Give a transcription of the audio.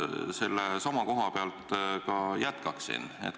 Ma sellesama koha pealt ka jätkaksin.